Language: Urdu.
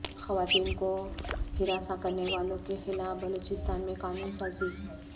خواتین کو ہراساں کرنے والوں کے خلاف بلوچستان میں قانون سازی